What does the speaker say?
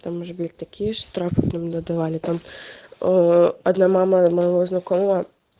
там же блядь такие штрафы нам надавали там оо одна мама моего знакомого